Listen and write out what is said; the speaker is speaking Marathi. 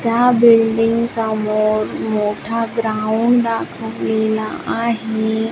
त्या बिल्डिंग समोर मोठा ग्राउंड दाखवलेला आहे.